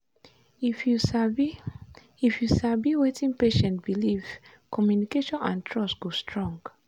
if you sabi if you sabi wetin patient believe communication and trust go strong.